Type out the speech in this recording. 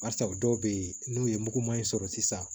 Barisa dɔw bɛ yen n'u ye mugu ma ɲi sɔrɔ sisan